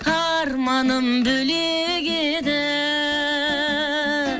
арманым бөлек еді